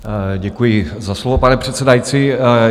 Děkuji za slovo, pane předsedající.